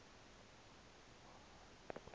sokufa kuba ayi